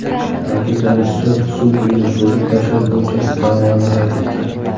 Ta’kidlanishicha, sud uyni buzib tashlash bo‘yicha da’voni rad etgan.